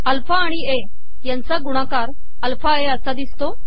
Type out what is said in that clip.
alpha आिण A याचा गुणाकार अलफा ए असा िदसतो